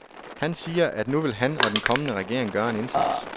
Han siger, at nu vil han og den kommende regering gøre en indsats.